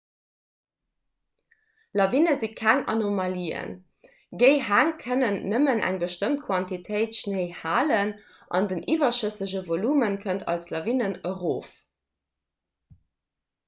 lawine si keng anomalien géi häng kënnen nëmmen eng bestëmmt quantitéit schnéi halen an den iwwerschëssege volume kënnt als lawinen erof